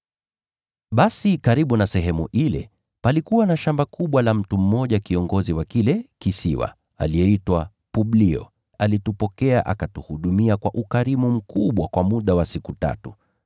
Basi karibu na sehemu ile, palikuwa na shamba kubwa la mtu mmoja kiongozi wa kile kisiwa, aliyeitwa Publio. Alitupokea na akatuhudumia kwa ukarimu mkubwa kwa muda wa siku tatu.